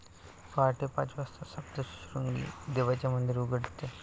पाहटे पाच वाजता सप्तशृंगी देवीचे मंदिर उघडते.